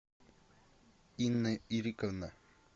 инна ириковна